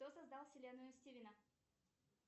кто создал вселенную стивена